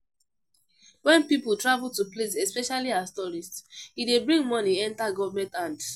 When pipo travel to places especially as tourist, e dey bring money enter government hand